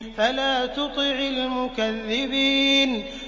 فَلَا تُطِعِ الْمُكَذِّبِينَ